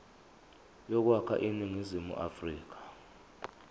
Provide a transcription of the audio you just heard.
yokwakha iningizimu afrika